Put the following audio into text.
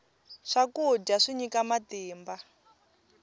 swakudya swi nyika matimba